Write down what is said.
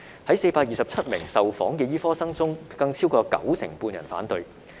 在427名受訪的醫科生中，更有超過九成半人反對。